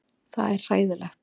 Það er hræðilegt.